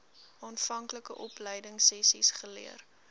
aanvanklike opleidingsessies geleer